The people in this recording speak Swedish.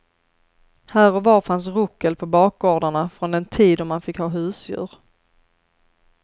Här och var fanns ruckel på bakgårdarna från den tid då man fick ha husdjur.